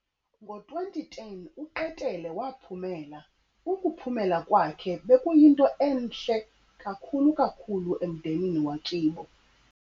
ngo 2010 uqetele wa phumela ukuphemela kwakhe beku yinto enhle yakhulu kakhulu emdenini wakibo